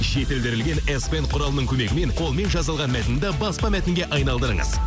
жетілдірілген ес пен құралының көмегімен қолмен жазылған мәтінді баспа мәтінге айналдырыңыз